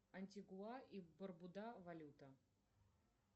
антигуа и барбуда валюта